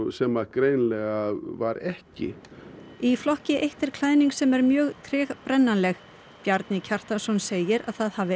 sem greinilega var ekki í flokki eitt er klæðning sem er mjög tregbrennanleg Bjarni Kjartansson segir að það hafi